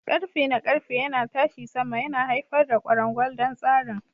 Ƙarfe na ƙarfe yana tashi sama, yana haifar da kwarangwal don tsarin.